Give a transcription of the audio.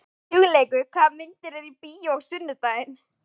Hugleikur, hvaða myndir eru í bíó á sunnudaginn?